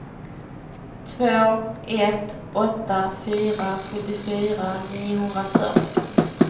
två ett åtta fyra sjuttiofyra niohundrafyrtio